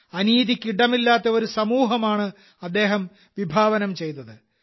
അനീതിക്ക് ഇടമില്ലാത്ത ഒരു സമൂഹമാണ് അദ്ദേഹം വിഭാവനം ചെയ്തത്